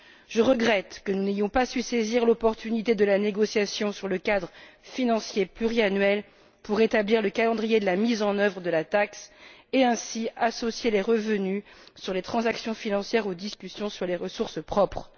Je regrette que nous n'ayons pas su saisir l'opportunité de la négociation sur le cadre financier pluriannuel pour établir le calendrier de mise en œuvre de la taxe et, ainsi, associer les revenus sur les transactions financières aux discussions sur les ressources propres.